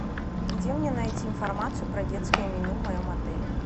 где мне найти информацию про детское меню в моем отеле